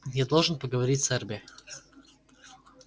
я должен поговорить с эрби